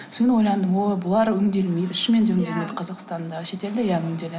содан кейін ойландым ой бұлар өңделмейді шынымен де өңделмейді қазақстанда шетелде иә өңделеді